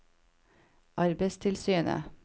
arbeidstilsynets